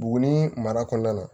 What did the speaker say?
Buguni mara kɔnɔna na